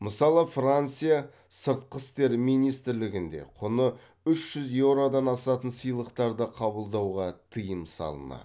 мысалы франция сыртқы істер министрлігі де құны үш жүз еуродан асатын сыйлықтарды қабылдауға тыйым салынады